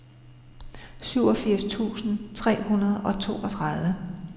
syvogfirs tusind tre hundrede og toogtredive